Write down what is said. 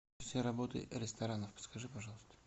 все работы ресторанов подскажи пожалуйста